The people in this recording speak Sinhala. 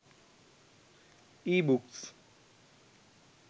ebooks